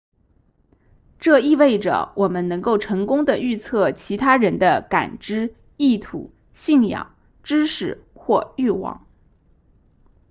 这意味着我们能够成功地预测其他人的感知意图信仰知识或欲望